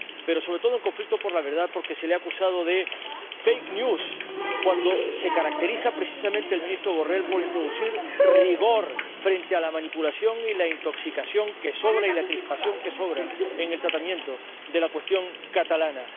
Pero, sobre todo, en conflicto con la verdad, porque se le ha acusado de fake news, cuando precisamente el ministro Borrell se caracteriza por introducir rigor frente a la manipulación y la intoxicación —que sobran— y la crispación —que sobra— en el tratamiento de la cuestión catalana.